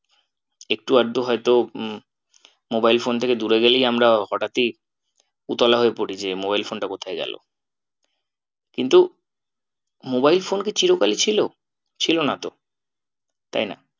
একটু আধটু হয়তো উম mobile phone থেকে দূরে গেলেই আমরা হঠাৎই উতলা হয়ে পড়ি যে mobile phone টা কোথায় গেলো? কিন্তু mobile phone কি চির কালই ছিল? ছিল না তো তাই না